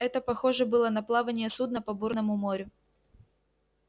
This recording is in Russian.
это похоже было на плавание судна по бурному морю